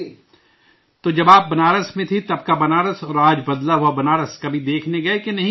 تو جب آپ بنارس میں تھے تب کا بنارس اور آج بدلا ہوا بنارس کبھی دیکھنے گئے کہ نہیں گئے